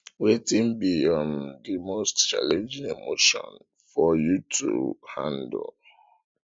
wetin be um di most challenging emotion for you to handle